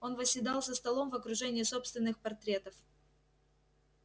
он восседал за столом в окружении собственных портретов